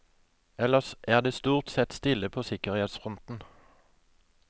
Ellers er det stort sett stille på sikkerhetsfronten.